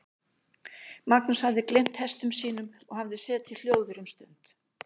Magnús hafði gleymt hestum sínum og hafði setið hljóður um stund.